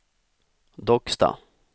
Docksta